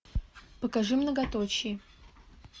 покажи многоточие